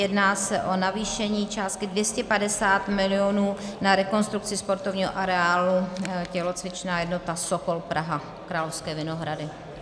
Jedná se o navýšení částky 250 milionů na rekonstrukci sportovního areálu Tělocvičná jednota Sokol Praha, Královské Vinohrady.